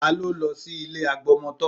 Ta ló lọ sí ilé agbọmọtọ́?